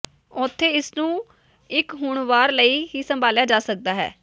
ਉੱਥੇ ਇਸ ਨੂੰ ਇੱਕ ਹੁਣ ਵਾਰ ਲਈ ਹੀ ਸੰਭਾਲਿਆ ਜਾ ਸਕਦਾ ਹੈ